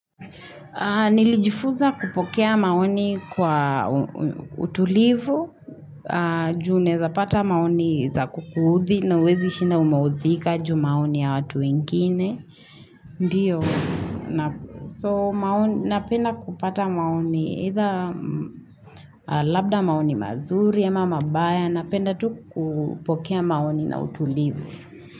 Nilijifuza kupokea maoni kwa utulivu, juu naezapata maoni za kukuudhi na huwezishinda umeudhika juu maoni ya watu wengine. Ndiyo, so napenda kupata maoni, either labda maoni mazuri ama mabaya, napenda tu kupokea maoni na utulivu.